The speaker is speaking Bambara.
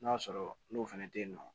N'a sɔrɔ n'o fɛnɛ tɛ ye nɔ